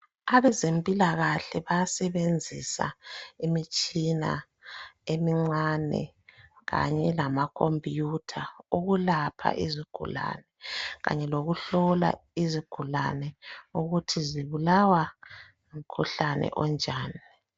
Abezempilakahle bayasebenzisa imitshina emincane kanye lamacomputer ukulapha izigulane Kanye lokuhlola izigulane ukuthi zibulawa ngumkhuhlane onjani